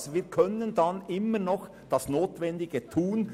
Damit können wir dann immer noch das Notwendige tun.